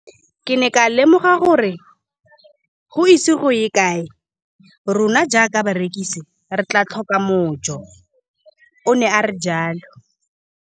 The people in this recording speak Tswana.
Ke ne ka lemoga gore go ise go ye kae rona jaaka barekise re tla tlhoka mojo, o ne a re jalo.